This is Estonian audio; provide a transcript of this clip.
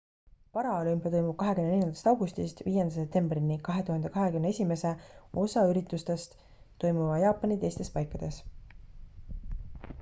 paraolümpia toimub 24 augustist 5 septembrini 2021 osa üritustest toimuvad jaapani teistes paikades